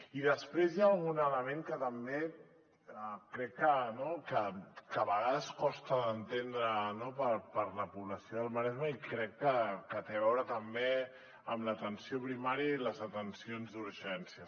i després hi ha algun element que també crec que a vegades costa d’entendre per a la població del maresme i crec que té a veure també amb l’atenció primària i les atencions d’urgències